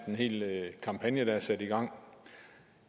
en hel kampagne der er sat i gang